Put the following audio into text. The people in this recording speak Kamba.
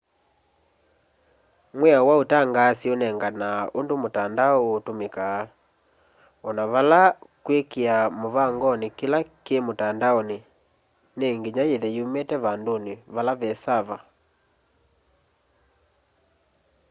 mwĩao wa ũtangaasi ũnenganaa ũndũ mũtandao ũkũtũmĩka ona vala kwĩkĩa mũvangonĩ kĩla kĩ mũtandaonĩ nĩ nginya yĩthe yumĩte vandũnĩ vala ve saava